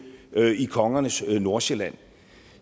i kongernes nordsjælland